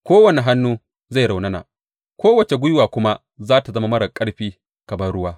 Kowane hannu zai raunana, kowace gwiwa kuma za tă zama marar ƙarfi kamar ruwa.